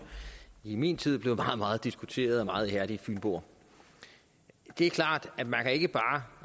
i min tid blev meget meget diskuteret af meget ihærdige fynboer det er klart at man ikke bare